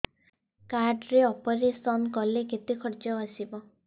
card ରେ operation କଲେ କେତେ ଖର୍ଚ ଆସିବ